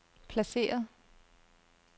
placeret